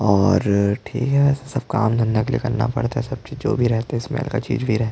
और ठीक है वैसे सब काम धंधा के लिए करना पड़ता है सब चीज जो भी रहता है स्मेल का चीज भी रहै ।